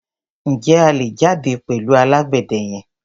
Ǹjẹ́ a lè jáde pẹ̀lú alágbẹ̀dẹ yẹn?